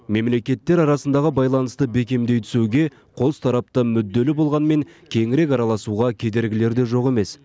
мемлекеттер арасындағы байланысты бекемдей түсуге қостарапты мүдделі болғанмен кеңірек араласуға кедергілер де жоқ емес